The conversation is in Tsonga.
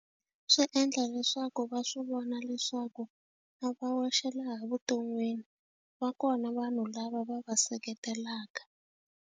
Swi endla leswaku va swi vona leswaku a va wexe laha evuton'wini va kona vanhu lava va va seketelaka.